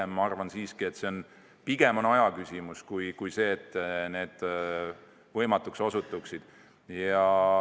Ma arvan siiski, et see on pigem aja küsimus kui see, et need võimatuks osutuvad.